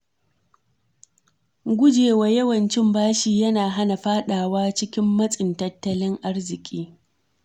Gujewa yawan cin bashi yana hana fadawa cikin matsin tattalin arziki.